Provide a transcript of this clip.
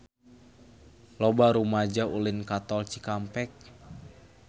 Loba rumaja ulin ka Tol Cikampek